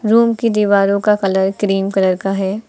Room की दीवारों का कलर क्रीम कलर का है।